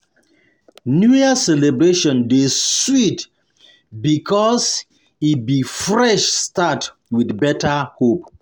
New Year celebration dey sweet because e be fresh be fresh start with better hope.